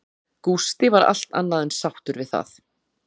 Gústi var allt annað en sáttur við það.